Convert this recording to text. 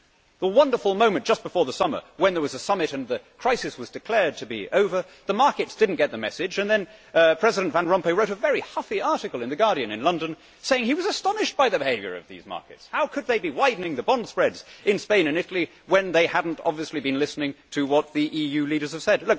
that wonderful moment just before the summer when there was a summit and the crisis was declared to be over, but the markets did not get the message and then President Van Rompuy wrote a very huffy article in the in London saying he was astonished by the behaviour of these markets how could they be widening the bond spreads in Spain and Italy when they had obviously not been listening to what the EU leaders had said?